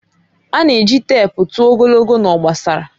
A na-eji teepu tụọ ogologo na obosara.